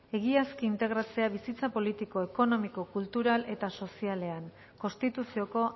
egiaz integratzea bizitza politiko ekonomiko kultural eta sozialean konstituzioko